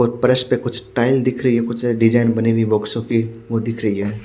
और परस पे कुछ टाईल दिख रही है कुछ डिजाइन बनी हुई बॉक्सो कि वो दिख रही हैं।